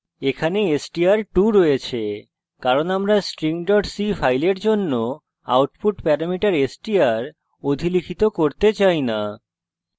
এখানে str2 রয়েছে কারণ আমরা string c file জন্য output প্যারামিটার str অধিলিখিত করতে চাই না